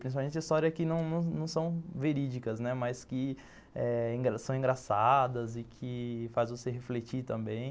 Principalmente histórias que não não não são verídicas, mas que são engraçadas e que fazem você refletir também.